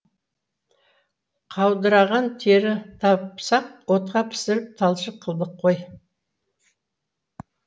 қаудыраған тері тапсақ отқа пісіріп талшық қылдық қой